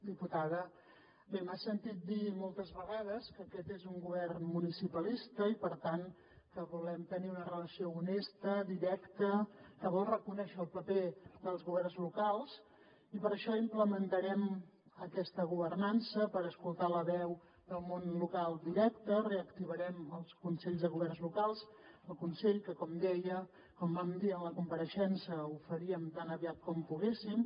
diputada bé m’ha sentit dir moltes vegades que aquest és un govern municipalista i per tant que volem tenir una relació honesta directa que vol reconèixer el paper dels governs locals i per això implementarem aquesta governança per escoltar la veu del món local directe reactivarem el consell de governs locals el consell que com vam dir en la compareixença ho faríem tan aviat com poguéssim